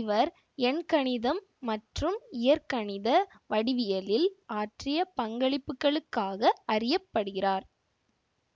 இவர் எண்கணிதம் மற்றும் இயற்கணித வடிவவியலில் ஆற்றிய பங்களிப்புகளுக்காக அறிய படுகிறார்